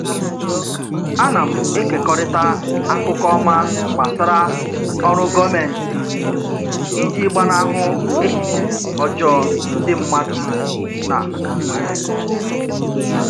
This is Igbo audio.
Ana m ekekọrịta akụkọ ọma gbasara oru gọọmentị iji gbanahụ echiche ọjọọ ndị mmadụ na nwere.